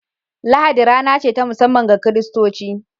Lahadi rana ce ta musamman ga kiristaci